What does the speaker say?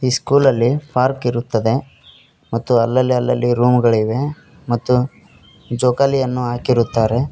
ಈ ಸ್ಕೂಲಲ್ಲಿ ಪಾರ್ಕ್ ಇರುತ್ತದೆ ಮತ್ತು ಅಲ್ಲಲ್ಲಿ ಅಲ್ಲಲ್ಲಿ ರೂಮ್ ಗಳಿವೆ ಮತ್ತು ಜೋಕಾಲಿಯನ್ನು ಹಾಕಿರುತ್ತಾರೆ.